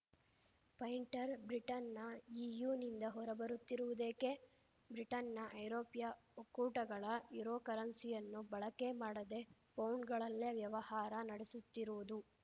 pointer Britain ನ E U ನಿಂದ ಹೊರಬರುತ್ತಿರುವುದೇಕೆ ಬ್ರಿಟನ್‌ನ ಐರೋಪ್ಯ ಒಕ್ಕೂಟಗಳ ಯೂರೋ ಕರೆನ್ಸಿಯನ್ನು ಬಳಕೆ ಮಾಡದೆ ಪೌಂಡ್‌ಗಳಲ್ಲೇ ವ್ಯವಹಾರ ನಡೆಸುತ್ತಿರುವುದು